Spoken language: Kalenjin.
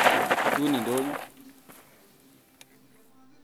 Chutun idonyo